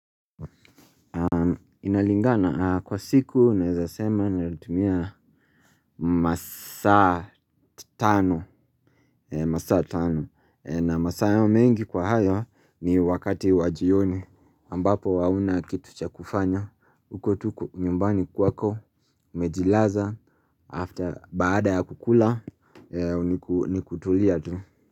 Inalingana kwa siku unaezasema nalitumia masaa tano. Masaa tano na masaa hayo mengi kwa hayo ni wakati wajioni ambapo hauna kitu cha kufanya. Ukotuko nyumbani kwako umejilaza After baada ya kukula ni kutulia tu.